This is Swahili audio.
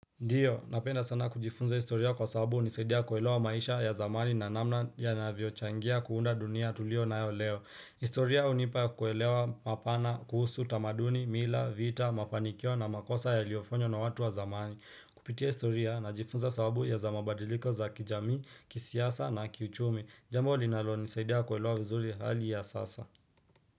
Ndio, napenda sana kujifunza historia kwa sababu hunisaidia kuelewa maisha ya zamani na namna yanavyochangia kuunda dunia tuliyonayo leo. Historia hunipa kuelewa mapana, kuhusu, tamaduni, mila, vita, mafanikio na makosa yaliyofanywa na watu wa zamani. Kupitia historia najifunza sababu ya mabadiliko za kijamii, kisiasa na kiuchumi. Jambo linalonisaidia kuelewa vizuri hali ya sasa.